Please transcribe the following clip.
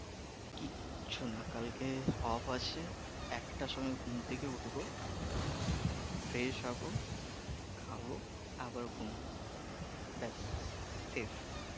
কিচ্ছু নাহ কালকে off আছে একটার সময় ঘুম থেকে উঠবো fresh হবো খাবো আবার ঘুমাবো ব্যাস শেষ।